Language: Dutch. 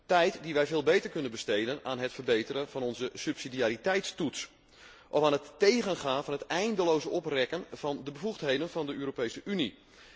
Tijd die wij veel beter kunnen besteden aan het verbeteren van onze subsidiariteitstoets of aan het tegengaan van het eindeloze oprekken van de bevoegdheden van de Europese Unie.